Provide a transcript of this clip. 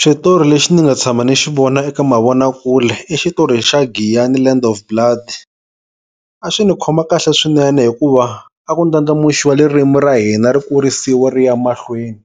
Xitori lexi ni nga tshama ni xi vona eka mavonakule, i xitori xa giyani land blood. A swi ni khoma kahle swinene hikuva a ku ndlandlamuxiwa ririmu ra hina ri kurisiwa ri ya mahlweni.